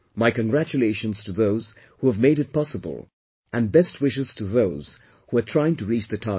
My congratulations to those who have made it possible, and best wishes to those who are trying to reach the target